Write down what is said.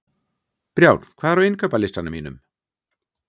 Brjánn, hvað er á innkaupalistanum mínum?